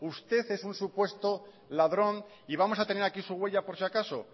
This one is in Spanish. usted es un supuesto ladrón y vamos a tener aquí su huella por si acaso